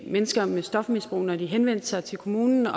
mennesker med stofmisbrug når de henvendte sig til kommunen og